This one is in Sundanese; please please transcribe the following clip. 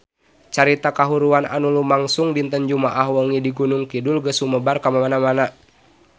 Carita kahuruan anu lumangsung dinten Jumaah wengi di Gunung Kidul geus sumebar kamana-mana